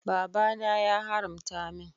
Baba na ya haramta min.